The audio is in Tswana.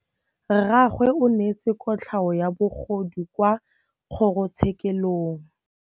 Rragwe o neetswe kotlhaô ya bogodu kwa kgoro tshêkêlông.